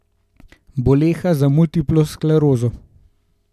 Boleha za multiplo sklerozo.